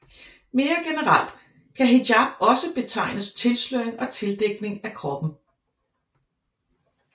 Mere generelt kan hijab også betegne tilsløring og tildækning af kroppen